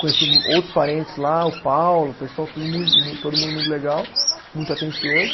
Conheci outros parentes lá, o Paulo, o pessoal, tudo mui, todo mundo muito legal, muito atencioso.